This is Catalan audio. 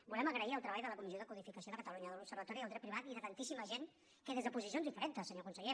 volem agrair el treball de la comissió de codificació de catalunya de l’observatori del dret privat i de tantíssima gent que des de posicions diferents senyor conseller